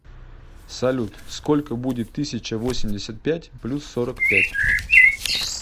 салют сколько будет тысяча восемьдесят пять плюс сорок пять